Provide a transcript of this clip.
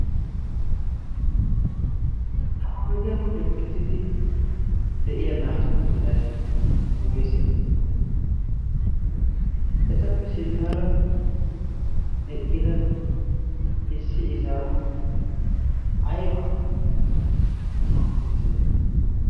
ha ohidiyaa bolli uqittidi de7iya naatu qooidai woise etappe sinttaara eqqida issi izaau aibaa tookki uttite